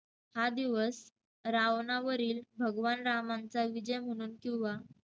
हा दिवस रावणावरील भगवान रामांचा विजय म्हणून किंवा